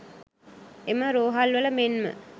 එම රෝහල්වල මෙන්ම